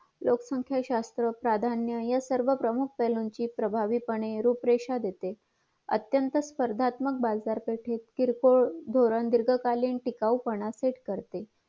लोकसंख्या शास्त्र प्राधान्य यासर्व प्रमुख पेहळूचे प्रभावी पाने रूप रेषा देते अत्यंत स्पर्धात्मक बाजार पेठेत किरकोळ धोरण दीर्घकालीन टिकाऊपणा सेट करते